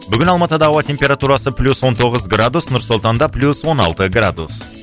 бүгін алматыда ауа температурасы плюс он тоғыз градус нұр сұлтанда плюс он алты градус